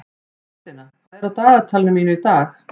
Þórsteina, hvað er á dagatalinu mínu í dag?